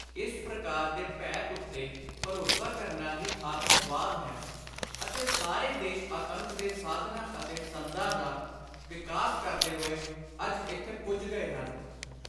ਇਸ ਪ੍ਰਕਾਰ ਦੇ ਭੈ ਉੱਤੇ ਭਰੋਸਾ ਕਰਨਾ ਹੀ ਆਤੰਕਵਾਦ ਹੈ ਅਤੇ ਸਾਰੇ ਦੇਸ਼ ਆਤੰਕ ਦੇ ਸਾਧਨਾਂ ਅਤੇ ਸੰਦਾਂ ਦਾ ਵਿਕਾਸ ਕਰਦੇ ਹੋਏ ਅੱਜ ਇਥੇ ਪੁੱਜ ਗਏ ਹਨ